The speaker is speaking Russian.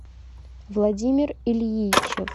владимир ильичев